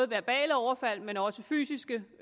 verbale overfald men også fysiske